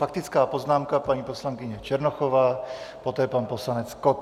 Faktická poznámka paní poslankyně Černochová, poté pan poslanec Kott.